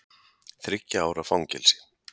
Þriggja ára fangelsi